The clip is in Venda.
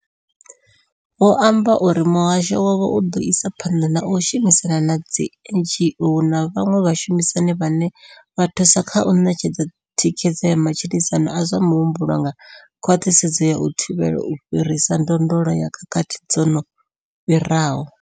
Vho amba uri muhasho wavho u ḓo isa phanḓa na u shumisana na dzi NGO na vhaṅwe vhashumisani vhane vha thusa kha u ṋetshedza thikhedzo ya matshilisano a zwa muhumbulo nga khwaṱhisedzo ya u thivhela u fhirisa ndondolo ya khakhathi dzo no fhiraho.